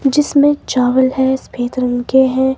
जिसमें चावल है सफेद रंग के है।